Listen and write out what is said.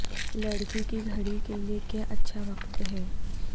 لکڑی کی گھڑی کے لئے کیا اچھا وقت ہے